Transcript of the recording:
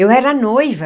Eu era noiva.